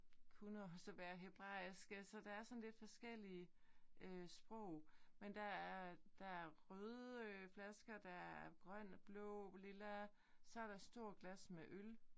Kunne også være hebraisk altså der er sådan lidt forskellige øh sprog. Men der er der er røde flasker der er grøn blå lilla. Så der stort glas med øl